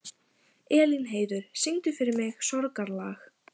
Elínheiður, syngdu fyrir mig „Sorgarlag“.